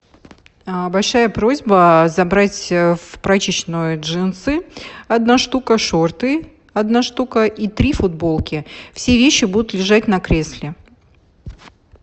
большая просьба забрать в прачечную джинсы одна штука шорты одна штука и три футболки все вещи будут лежать на кресле